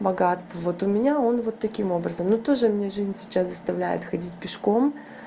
богатство вот у меня он вот таким образом ну тоже меня жизнь сейчас заставляет ходить пешком